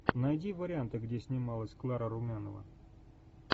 найди варианты где снималась клара румянова